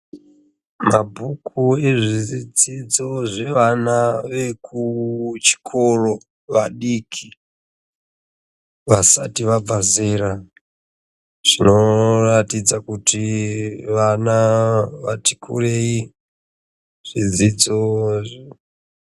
Mabhuku ewana wezvedzidzo yevana wekuchikoro vadiki vasati vabva zera zvinoratidza kuti vana vati kurei zvidzidzo.